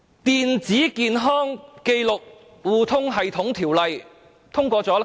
《電子健康紀錄互通系統條例》又通過了多久？